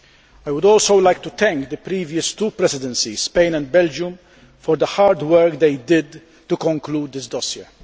I would also like to thank the previous two presidencies Spain and Belgium for the hard work they did to conclude this dossier.